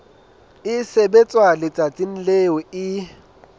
e sebetswa letsatsing leo e